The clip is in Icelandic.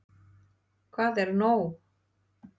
Hvað er nóg?